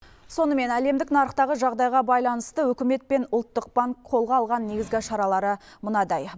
сонымен әлемдік нарықтағы жағдайға байланысты үкімет пен ұлттық банк қолға алған негізгі шаралары мынадай